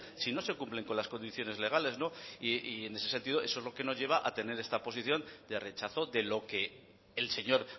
si no se cumplen con las condiciones legales y en ese sentido eso es lo que nos lleva a tener esta posición de rechazo de lo que el señor